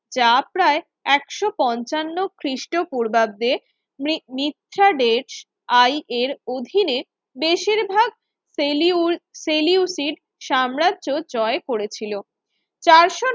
যা প্রায় একশো পঞ্চান্ন খ্রিস্টপূর্বাব্দের নিচ্ছাডেজ IA এর অধীনে বেশিরভাগ ফেলিউ ফেলিউটির সাম্রাজ্য জয় করেছিল